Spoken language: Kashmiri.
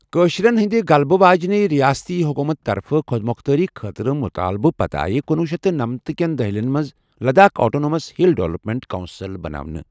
کٲشرین ہندِ غلبہٕ واجیٚنہِ رِیٲستی حُکوٗمتہٕ طرفہٕ خۄد مۄختٲری خٲطرٕ مُطالبٕہٕ پتہٕ آیہ کنۄہ شیتھ نمنتھ كین دہِلین منز Ladakh autonomous hill development council بناونہٕ۔